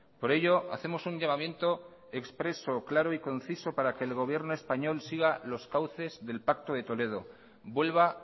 por ello hacemos un llamamiento expreso claro y conciso para que el gobierno español siga los cauces del pacto de toledo vuelva